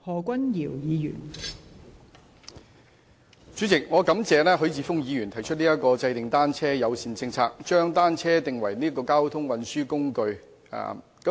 代理主席，我感謝許智峯議員提出"制訂單車友善政策，將單車定為交通運輸工具"的議案。